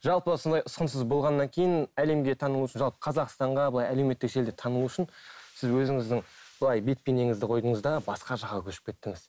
жалпы сондай ұсқынсыз болғаннан кейін әлемге танылу үшін жалпы қазақстанға былай әлеуметтік желіде танылу үшін сіз өзіңіздің былай бет бейнеңізді қойдыңыз да басқа жаққа көшіп кеттіңіз